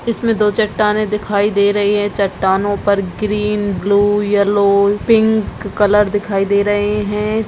इसमें दो चट्टानें दिखाई दे रही हैं चट्टानों पर green blue yellow pink colour दिखाई दे रहे हैं।